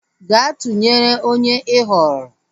Gaa tụnyere onye ị họọrọ!